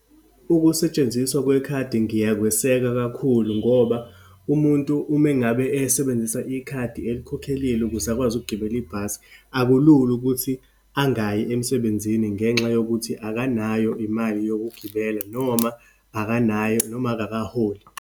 Ukusetshenziswa kwekhadi ngiyakweseka kakhulu, ngoba umuntu uma ngabe esebenzisa ikhadi elikhokhelile ukuze akwazi ukugibela ibhasi, akulula ukuthi angayi emsebenzini ngenxa yokuthi akanayo imali yokugibela, noma akanayo, noma akakaholi.